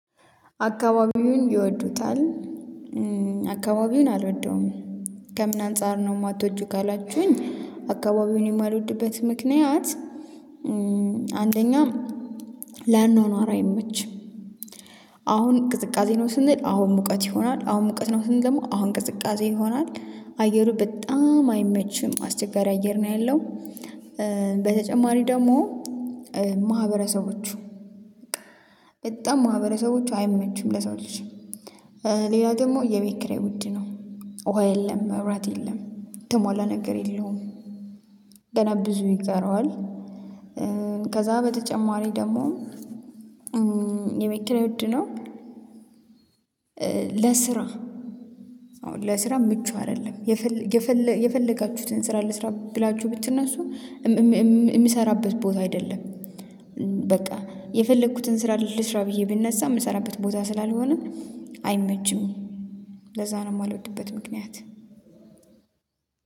አካባቢውን ይወዱታል። አካባቢውን አልወደውም ከምን አንፃር ነው? የማትወጂው ካላችሁኝ አካባቢውን የማልወድበት ምክንያት አንደኛ ለአኖኗራ አይመችም። አሁን ቅዝቃዜ ነው ስንል አሁን ሙቀት ይሆናል አሁን ሙቀት ነው ስንል ደግሞ አሁን ቅዝቃዜ ይሆናል አየሩ በጣም አይመችም አስቸጋሪ አየር ነው ያለው። በተጨማሪ ደግሞ ማህበረሰቦቹ በጣም ማህበረሰቦቹ አይመችም ለሰው ልጅ ሌላ ደግሞ የቤት ኪራይ ውድ ነው። ውሃ የለም መብራት የለም ተሟላ ነገር የለውም። ገና ብዙ ይቀረዋል። ከዛ በተጨማሪ ደግሞ የቤት ኪራይ ውድ ነው። ለስራ ለስራ ምቹ አይደለም። የፈለጋችሁትን ስራ ልስራ ብላችሁ ብትነሱ የሚሰራበት ቦታ አይደለም። በቃ የፈለኩትን ስራ ልስራ ብዬ ብነሳ የምሰራበት ቦታ ስላልሆነ አይመችም ለዛ ነው የማልወድበት። ምክንያት